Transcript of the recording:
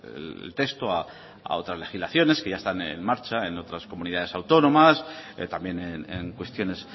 el texto a otras legislaciones que ya están en marcha en otras comunidades autónomas también en cuestiones